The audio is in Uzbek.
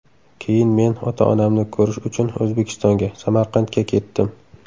Keyin men ota-onamni ko‘rish uchun O‘zbekistonga, Samarqandga ketdim.